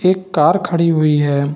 एक कार खड़ी हुई है।